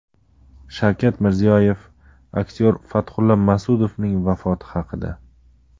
Shavkat Mirziyoyev aktyor Fathulla Mas’udovning vafoti haqida.